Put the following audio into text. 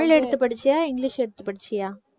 தமிழ் எடுத்து படிச்சியா இங்கிலிஷ் எடுத்து படிச்சியா?